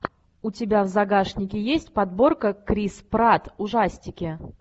у тебя в загашнике есть подборка крис пратт ужастики